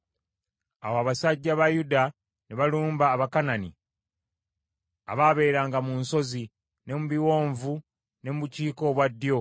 Awo abasajja ba Yuda ne balumba Abakanani abaabeeranga mu nsozi ne mu biwonvu ne mu bukiika obwa ddyo.